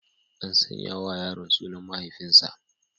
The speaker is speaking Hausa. An sanya wa yaron sunan mahaifinsa.